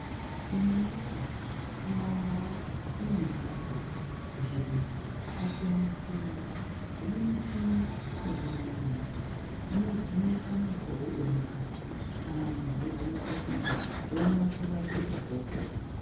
Imwi woye kumandau kune mhatso kuzvibhedhlera dzakasiyana siyana dzine michini yechi manje manje inovheneka makodo emukati kana munhi eizwe mukhuhlani oone kurapika opona.